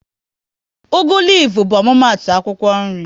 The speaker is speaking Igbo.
Ugu lifu bụ omumatu akwụkwọ nri